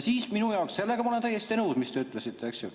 Sellega ma olen täiesti nõus, mis te ütlesite, eks ju.